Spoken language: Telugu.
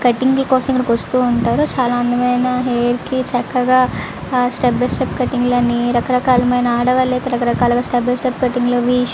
కటింగ్ కోసం ఇక్కడికి వస్తు వుంటారు. చాలా మంది హెయిర్ కి చక్కగా స్టెప్ బి స్టెప్ కటింగ్ లాగా ఆడవాళ్లు అయితే రక రకాల కటింగ్ లు అవి--